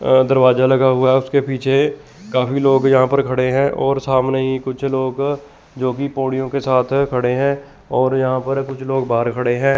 अ दरवाजा लगा हुआ है उसके पीछे काफी लोग यहां पर खड़े है और सामने ही कुछ लोग जो की बोड़ियों के साथ खड़े है और यहां पर कुछ लोग बाहर खड़े हैं।